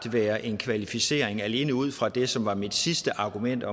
være en kvalificering alene ud fra det som var mit sidste argument